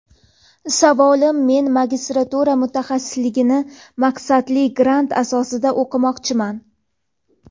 Savolim men magistratura mutaxassisligini maqsadli grant asosida o‘qimoqchiman.